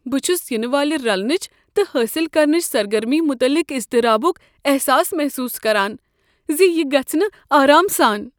بہٕ چھس ینہٕ والہ رلنٕچ تہٕ حٲصل کرنٕچ سرگرمی مٖتعلق اضطرابک احساس محسوس کران ز یہ گژھہٕ نہٕ آرام سان۔